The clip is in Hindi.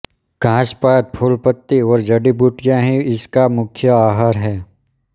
घास पात फूल पत्ती और जड़ी बूटियाँ ही इसका मुख्य आहार हैं